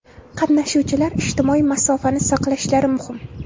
Qatnashuvchilar ijtimoiy masofani saqlashlari muhim.